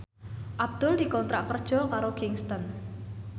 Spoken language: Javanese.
Abdul dikontrak kerja karo Kingston